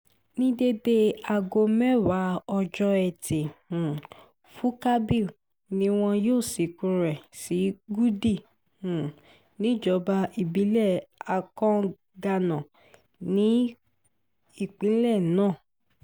ní déédéé aago mẹ́wàá ọjọ́ etí um furcabee ni wọn yóò sìnkú rẹ̀ sí gúdí um níjọba ìbílẹ̀ akanganá ní ìpínlẹ̀ náà